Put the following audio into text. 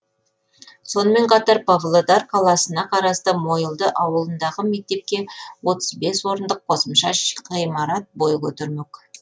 сонымен қатар павлодар қаласына қарасты мойылды ауылындағы мектепке отыз бес орындық қосымша ғимарат бой көтермек